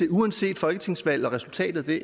uanset folketingsvalg og resultatet af det